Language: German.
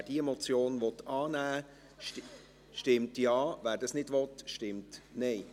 Wer diese Motion annehmen will, stimmt Ja, wer dies nicht will, stimmt Nein.